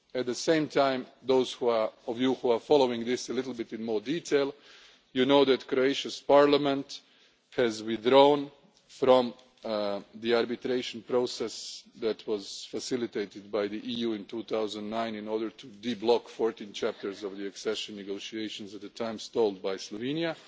it. At the same time, those of you who are following this in a little more detail will know that Croatia's Parliament has withdrawn from the arbitration process that was facilitated by the EU in 2009 in order to unblock 14 chapters of the accession negotiations at a time stalled by Slovenia